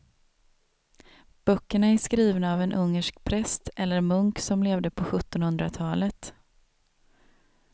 Böckerna är skrivna av en ungersk präst eller munk som levde på sjuttonhundratalet.